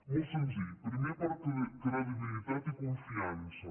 molt senzill primer per credibilitat i confiança